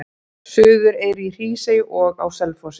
Suðureyri, í Hrísey og á Selfossi.